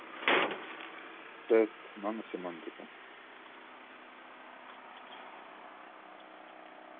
тест наносемантика